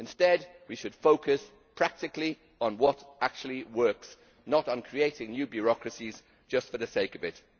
Instead we should focus practically on what actually works, not on creating new bureaucracies just for the sake of it.